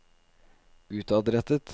utadrettet